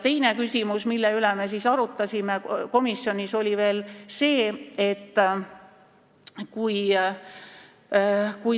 Teine küsimus, mida me komisjonis arutasime, oli see.